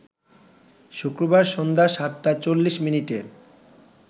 শুক্রবার সন্ধ্যা ৭ টা ৪০ মিনিটে